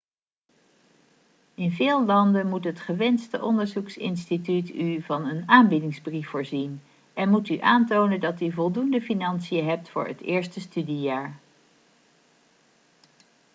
in veel landen moet het gewenste onderzoeksinstituut u van een aanbiedingsbrief voorzien en moet u aantonen dat u voldoende financiën hebt voor het eerste studiejaar